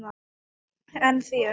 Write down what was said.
En þér?